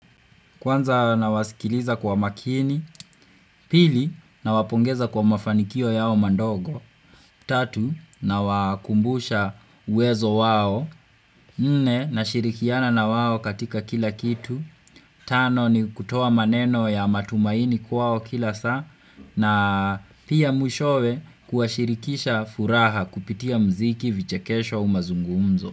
Kwanza nawasikiliza kwa makini, pili nawapongeza kwa mafanikio yao mandogo, tatu na wakumbusha uwezo wao, mne nashirikiana na wao katika kila kitu, tano ni kutoa maneno ya matumaini kwao kila saa, na pia mwishowe kuashirikisha furaha kupitia mziki vichekesho au umazungumzo.